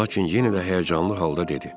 Lakin yenə də həyəcanlı halda dedi.